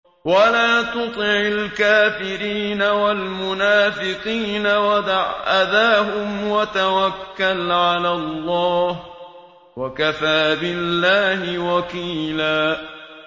وَلَا تُطِعِ الْكَافِرِينَ وَالْمُنَافِقِينَ وَدَعْ أَذَاهُمْ وَتَوَكَّلْ عَلَى اللَّهِ ۚ وَكَفَىٰ بِاللَّهِ وَكِيلًا